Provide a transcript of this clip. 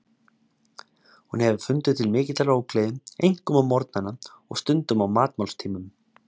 Hún hefur fundið til mikillar ógleði, einkum á morgnana og stundum á matmálstímum.